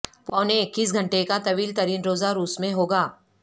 پونے اکیس گھنٹے کا طویل ترین روزہ روس میں ہوگا